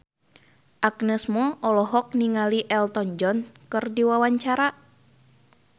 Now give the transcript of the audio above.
Agnes Mo olohok ningali Elton John keur diwawancara